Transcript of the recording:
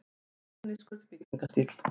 Módernískur byggingarstíll.